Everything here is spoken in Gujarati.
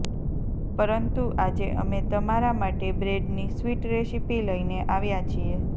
પરંતુ આજે અમે તમારા માટે બ્રેડની સ્વિટ રેસીપી લઇને આવ્યા છીએ